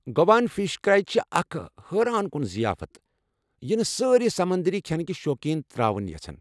گواہن fish curry چھےٚ اکھ حٲران کُن ضِیافت یہِ نہٕ سٲرِی سمندٔری کھٮ۪نٕكہِ شوقین تر٘اوُن یژھن ۔